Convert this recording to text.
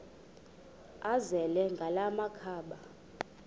azele ngala makhaba